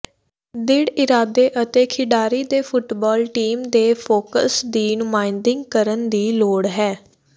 ਦ੍ਰਿੜ੍ਹ ਇਰਾਦੇ ਅਤੇ ਖਿਡਾਰੀ ਦੇ ਫੁੱਟਬਾਲ ਟੀਮ ਦੇ ਫੋਕਸ ਦੀ ਨੁਮਾਇੰਦਗੀ ਕਰਨ ਦੀ ਲੋੜ ਹੈ